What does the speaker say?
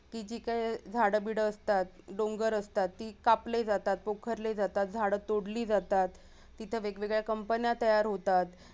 ती जी काही झाडं बिड असतात डोंगर असतात ती कापली जातात, पोखरली जातात, झाडं तोडली जातात तिथे वेगवेगळ्या company तयार होतात